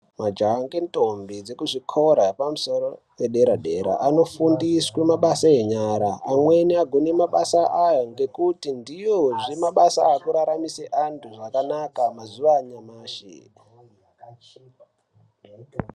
Majaha nendombi ekuzvikora zvepamusoro zvedera dera anokurudzirwa kufundiswa mabasa enyara mweni anofundiswa mabasa aya ndekuti ndiwo mabasa ekuraramura zvakanaka mazuva anyamashi.